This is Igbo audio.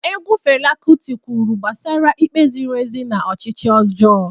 Egwu Fela Kuti kwuru gbasara ikpe ziri ezi na ọchịchị ọjọọ.